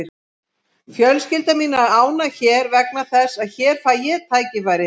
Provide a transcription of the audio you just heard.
Fjölskylda mín er ánægð hér vegna þess að hér fæ ég tækifæri.